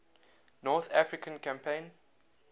north african campaign